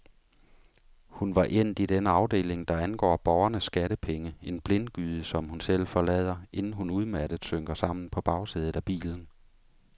Hun var endt i den afdeling, der angår borgernes skattepenge, en blindgyde som hun selv forlader, inden hun udmattet synker sammen på bagsædet af bilen.